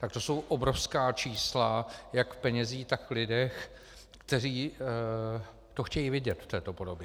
Tak to jsou obrovská čísla jak v penězích, tak v lidech, kteří to chtějí vidět v této podobě.